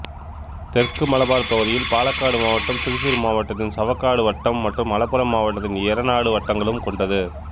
தெற்கு மலபார் பகுதியில் பாலக்காடு மாவட்டம் திருசூர் மாவட்டத்தின் சவக்காடு வட்டம் மற்றும் மலப்புறம் மாவட்டத்தின் எரநாடு வட்டங்களும் கொண்டது